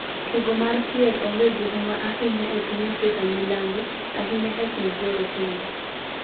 Tugo mar kier onge gihuma ahinya epiny Afrika milambo, ahinya e kind jorotenge